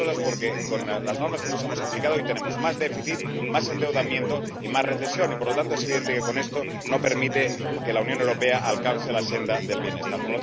entre otras cosas porque, con las normas que nos hemos aplicado, hoy tenemos más déficit, más endeudamiento y más recesión y, por lo tanto, es evidente que esto no permite que la Unión Europea alcance la senda del bienestar.